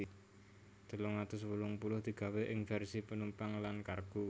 telung atus wolung puluh digawé ing vèrsi penumpang lan kargo